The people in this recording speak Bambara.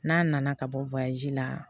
N'a nana ka bɔ la